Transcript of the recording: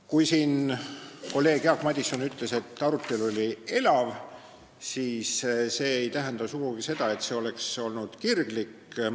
Kui kolleeg Jaak Madison ütles, et arutelu oli elav, siis see ei tähenda sugugi seda, et see oleks olnud kirglik.